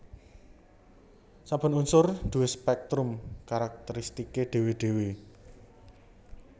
Saben unsur duwé spèktrum karakteristiké dhéwé dhéwé